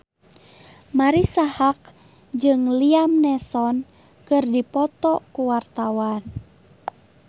Marisa Haque jeung Liam Neeson keur dipoto ku wartawan